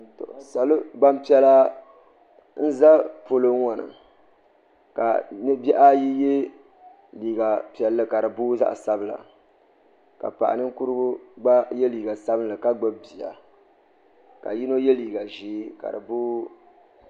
Gbanpiɛla n ʒɛ polo ŋo ni ka bi bihi ayi yɛ liiga piɛlli ka di booi zaɣ sabila ka paɣa ninkurigu gba yɛ liiga sabinli ka gbubi bia ka yino yɛ liiga ʒiɛ ka di booi